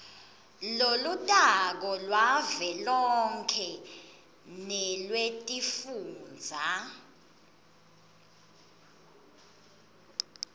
lolutako lwavelonkhe nelwetifundza